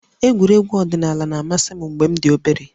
Egwuregwu ọdịnala na-amasị m mgbe m dị obere